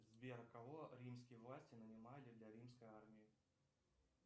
сбер кого римские власти нанимали для римской армии